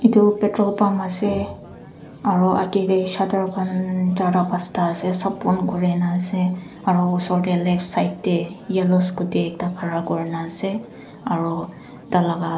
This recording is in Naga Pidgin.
etu petrolpump ase aru age te shater khan charta pachta ase sab ban kori kena ase aru osor te left side te yellow scooty ekta khara kurna ase aru tarlaga.